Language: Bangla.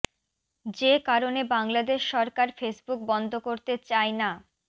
যে কারণে বাংলাদেশ সরকার ফেসবুক বন্ধ করতে চায় না